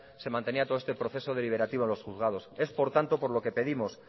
se mantenía todo este proceso deliberativo en los juzgados es por tanto por lo que pedimos